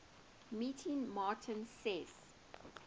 meeting martin says